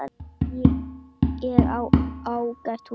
Nei, ég á ágætis hús.